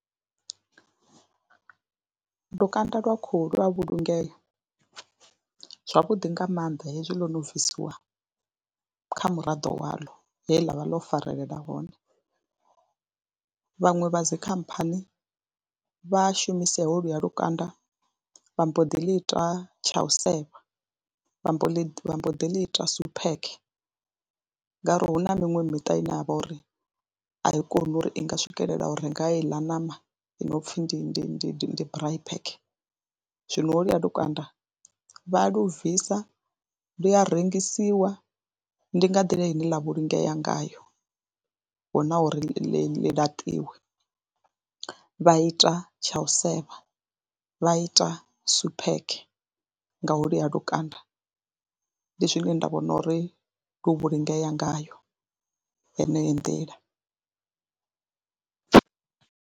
Lukanda lwa khuhu lwa vhulungea zwavhuḓi nga maanḓa hezwi ḽo no bvisiwa kha muraḓo waḽo he ḽa vha ḽo farelela hone, vhaṅwe vha dzi khamphani vha shumisa holuya lukanda vha mbo ḓi ḽi ita tsha u sefa, vha mbo ḽi vha mbo ḓi ḽi ita suphekhe ngauri hu na miṅwe miṱa ine ha vha uri a i koni uri i nga swikelela u renga heila ṋama i no pfhi ndi ndi ndi braai pack. Zwino holuya lukanda vha lu bvisa lu a rengisiwa ndi nga nḓila ine ḽa vhulungea ngayo, hu na uri ḽi laṱiwe vha ita tsha u sefa, vha ita suphekhe nga holuya lukanda, ndi zwine nda vhona uri lu vhulungea ngayo heneyo nḓila.